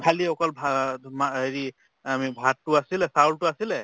খালি অকল হেৰি আমি ভাততো আছিলে চাউলতো আছিলে